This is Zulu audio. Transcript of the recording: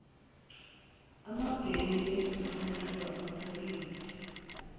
amabheyi izinhlonhlo amaphoyinti